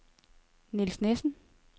Niels Nissen